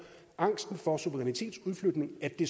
angsten for suverænitetsudflytning at det